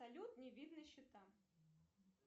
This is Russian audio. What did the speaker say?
салют не видно счета